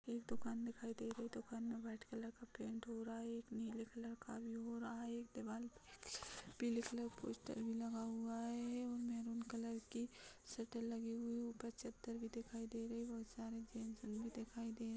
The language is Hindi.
एक दूकान दिखाई दे रही है दुकान मे वाइट कलर का पेंट हो रहा है एक नीले कलर का भी हो रहा है एक दीवाल पीले कलर का पोस्टर भी लगा हुआ है और मेहरून कलर की सटर लगी हुई है ऊपर चद्दर भी दिखाई दे रही है बहोत सारे जेंट्स अंदर दिखाई दे रहे।